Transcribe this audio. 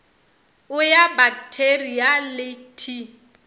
o ya baktheria le t